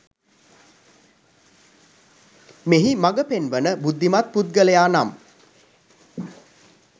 මෙහි මඟ පෙන්වන බුද්ධිමත් පුද්ගලයා නම්